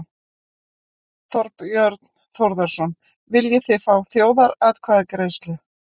Þorbjörn Þórðarson: Viljið þið fá þjóðaratkvæðagreiðslu?